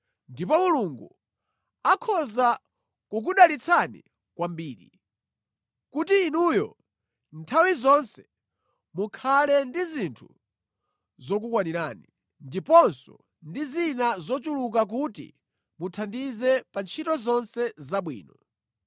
Ndipo Mulungu akhoza kukudalitsani kwambiri, kuti inuyo nthawi zonse mukhale ndi zinthu zokukwanirani, ndiponso ndi zina zochuluka kuti muthandize pa ntchito zonse zabwino.